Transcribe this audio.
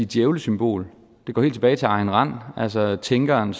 djævlesymbol det går helt tilbage til ayn rand altså tænkeren